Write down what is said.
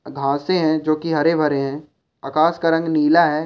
घासे है जो की हरे भरे है आकाश का रंग नीला है।